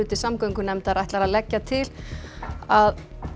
samgöngunefndar ætlar að leggja til að